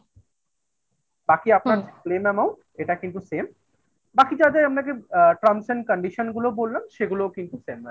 বাকি আপনার claim amount এটা কিন্তু same বাকি যাদের আপনাকে আ trams and condition গুলো বললাম সেগুলোও কিন্তু same madam